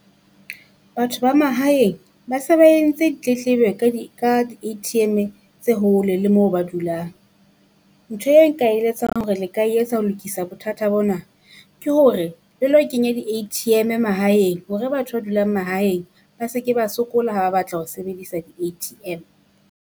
Batho ba mahaeng ba se ba entse di tletlebo ka di ka di A_T_M tse hole le moo ba dulang. Ntho eo nka eletsa hore le ka e etsa ho lokisa bothata bona, ke hore le lo Kenya di A_T_M mahaeng, hore batho ba dulang mahaeng ba se ke ba sokola ha ba batla ho sebedisa di A_T_M.